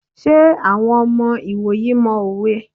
Ṣé àwọn ọmọ ìwòyí mọ òwe?